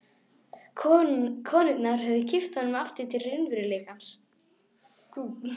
Konurnar höfðu kippt honum aftur til raunveruleikans.